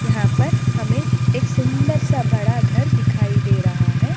यहाँ पर हमें एक सुंदर सा बड़ा घर दिखाई दे रहा है।